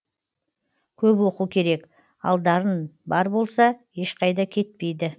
көп оқу керек ал дарын бар болса ешқайда кетпейді